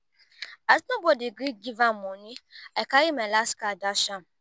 as nobody gree give am money i carry my last card dash am